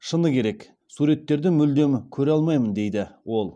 шыны керек суреттерді мүлдем көре алмаймын дейді ол